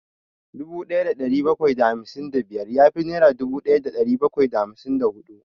Dubu ɗaya da ɗari bakwai da hamsin da biyar ya fi dubu ɗaya da ɗari bakwai da hamsin da huɗu